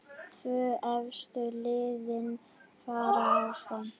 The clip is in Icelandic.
Tvö efstu liðin fara áfram.